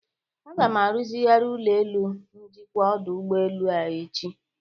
A ga-aruzigharị ụlọelu njikwa ọdụ ụgbelu a echi.